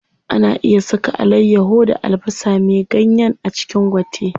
Ana iya saka alayyaho da albasa me ganyen a cikin gwate.